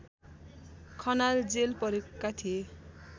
Khanal jail परेका थिए